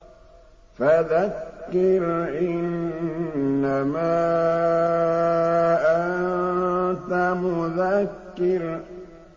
فَذَكِّرْ إِنَّمَا أَنتَ مُذَكِّرٌ